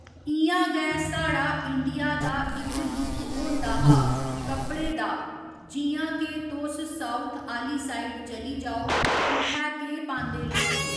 इ'यां गै साढ़ा इंडिया दा इक लुक होंदा हा कपड़े दा जि'यां के तोस साऊथ आह्‌ली साइड़ चली जाओ उत्थै केह् पांदे लोक